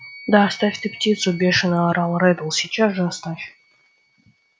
да оставь ты птицу бешено орал реддл сейчас же оставь